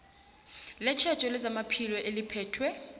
letjhejo lezamaphilo eliphethwe